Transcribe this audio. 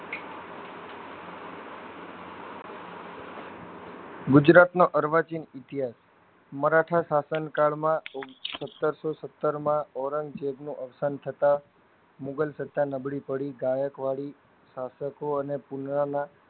ગુજરાતનો અર્વાચીન ઇતિહાસ મરાઠા શાસન કાળમાં સતરસો સ્તરમાં ઔરંઝેબનું અવસાન થતા મુગલ સત્તા નબળી પડી ગાયક વાડી શાસકો અને પુરાના